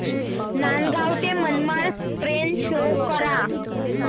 नांदगाव ते Manmad railway show करा